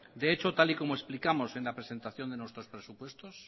de hecho tal y como explicamos en la presentación de nuestros presupuestos